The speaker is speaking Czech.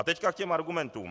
A teď k těm argumentům.